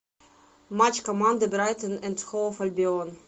матч команды брайтон энд хоув альбион